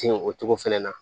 Tin o togo fɛnɛ na